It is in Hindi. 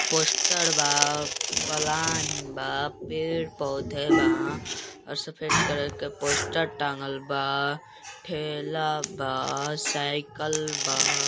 पोस्टर बा पलान बा पेड़-पौधे बा और सफेद कलर के पोस्टर टाँगल बा ठेला बा साइकिल बा।